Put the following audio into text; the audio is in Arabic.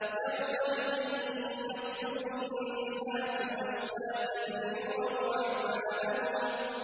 يَوْمَئِذٍ يَصْدُرُ النَّاسُ أَشْتَاتًا لِّيُرَوْا أَعْمَالَهُمْ